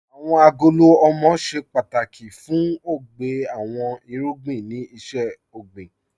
Awọn agolo ọmọ ṣẹ pátákì fún ọgbè àwọn irugbìn ni iṣẹ̀-ọgbìN